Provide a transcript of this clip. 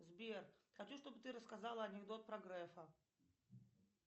сбер хочу чтобы ты рассказала анекдот про грефа